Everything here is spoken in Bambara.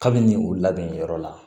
Kabini u labɛn yɔrɔ la